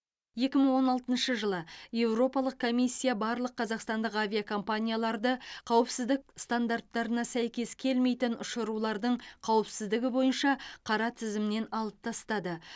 екі мың он алтыншы жылы еуропалық комиссия барлық қазақстандық авиакомпанияларды қауіпсіздік стандарттарына сәйкес келмейтін ұшырулардың қауіпсіздігі бойынша қара тізімнен алып тастады